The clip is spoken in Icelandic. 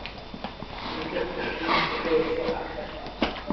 Virkið framan við kirkjuna sýndist um leið svo agnarsmátt.